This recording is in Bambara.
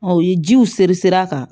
u ye jiw siri siri a kan